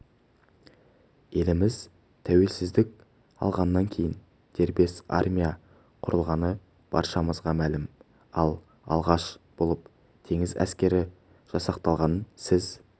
еліміз тәуелсіздік алғаннан кейін дербес армия құрылғаны баршамызға мәлім ал алғаш болып теңіз әскері жасақталғанын сіз